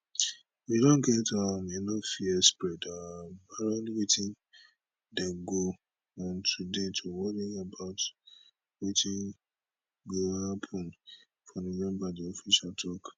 we don get um enough fear spread um around wetin dey go on today to worry about wetin gio happun for november di official tok